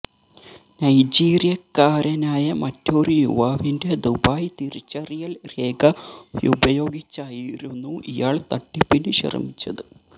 നൈജീരിയക്കാരനായ മറ്റൊരു യുവാവിന്റെ ദുബായ് തിരിച്ചറിയല് രേഖ ഉപയോഗിച്ചായിരുന്നു ഇയാള് തട്ടിപ്പിന് ശ്രമിച്ചത്